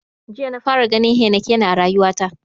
Jiya na fara ganin heinekena a rayuwa ta.